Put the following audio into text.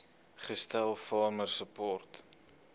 gestel farmer support